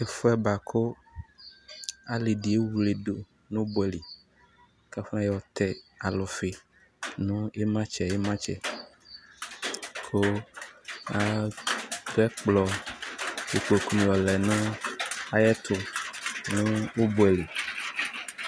Ɛfʋɛ bʋa kʋ alɩ dɩ ewledu nʋ ʋbʋɛ li, kafɔ yɔtɛ alʋfɩ nʋ ɩmatsɛ–ɩmatsɛ ,katɛkplɔ nʋ kpoku yɔ lɛ nayɛtʋ nʋ ʋbʋɛ na